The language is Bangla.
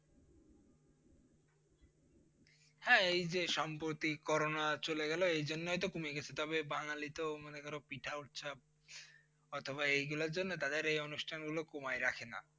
হ্যাঁ এই যে সাম্প্রতি করোনা চলে গেলো এইজন্যই তো কমেছে তবে বাঙালি তো মনে করো পিঠা উৎসব অথবা এইগুলোর জন্য তাদের এই অনুষ্ঠান গুলো কমায় রাখে না।